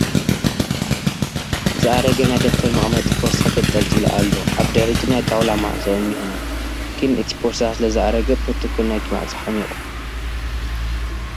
ዝኣረገ ናይ ደብተር መቐመጢ ፖርሳ ተንጠልጢሉ ኣሎ ፡ ኣብ ድሕሪቱ ናይ ጣውላ መዕፆ እንሄ ግን እቲ ፖርሳ ስለዝአረገ ፕሮቶኮል ናይቲ ማዕፆ ሓሚቑ ።